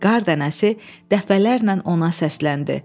Qar dənəsi dəfələrlə ona səsləndi.